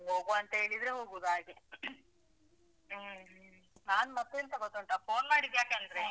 ಹೋಗ್ವಾ ಅಂತ ಹೇಳಿದ್ರೆ ಹೋಗುದು ಹಾಗೆ. caugh. ಹ್ಮ್. ನಾನ್ ಮತ್ತೆಂತ ಗೊತ್ತುಂಟಾ? phone ಮಾಡಿದ್ಯಕಂದ್ರೆ. ಹ.